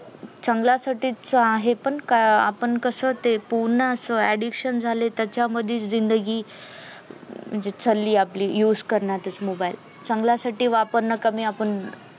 चांगला साठीच आहे पण का अं आपण कस ते पूर्ण अस addiction झाले त्याच्यामधीच जिंदगी म्हणजे चाली आपली used करण्यातच mobile चांगल्यासाठी वापरणं कमी आपण